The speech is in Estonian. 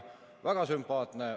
Väga sümpaatne.